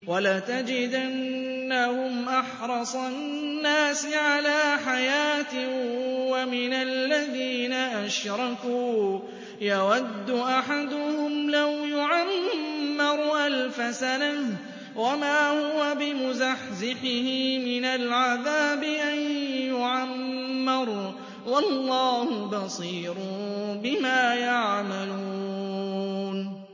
وَلَتَجِدَنَّهُمْ أَحْرَصَ النَّاسِ عَلَىٰ حَيَاةٍ وَمِنَ الَّذِينَ أَشْرَكُوا ۚ يَوَدُّ أَحَدُهُمْ لَوْ يُعَمَّرُ أَلْفَ سَنَةٍ وَمَا هُوَ بِمُزَحْزِحِهِ مِنَ الْعَذَابِ أَن يُعَمَّرَ ۗ وَاللَّهُ بَصِيرٌ بِمَا يَعْمَلُونَ